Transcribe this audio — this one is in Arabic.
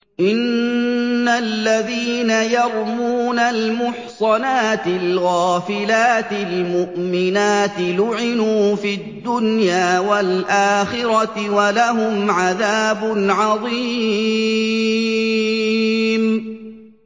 إِنَّ الَّذِينَ يَرْمُونَ الْمُحْصَنَاتِ الْغَافِلَاتِ الْمُؤْمِنَاتِ لُعِنُوا فِي الدُّنْيَا وَالْآخِرَةِ وَلَهُمْ عَذَابٌ عَظِيمٌ